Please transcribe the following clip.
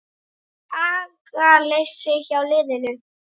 Er agaleysi hjá liðinu?